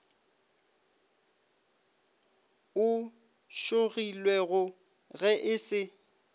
o šogilwego ge e se